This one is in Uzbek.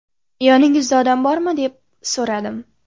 Yoningizda odam bormi, deb so‘radim.